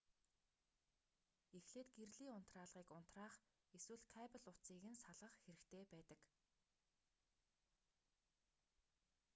эхлээд гэрлийн унтраалгыг унтраах эсвэл кабель утсыг нь салгах хэрэгтэй байдаг